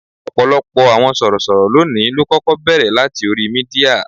Ọ̀pọ̀ àwọn sorosoro lónìí ló kọ́kọ́ bẹ̀rẹ̀ láti orí Mídíà.